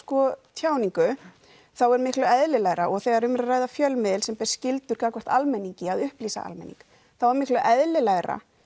tjáningu þá er miklu eðlilegra og þegar um er að ræða fjölmiðil sem ber skyldu gagnvart almenningi að upplýsa almenning þá er miklu eðlilegra